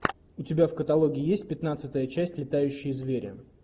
у тебя в каталоге есть пятнадцатая часть летающие звери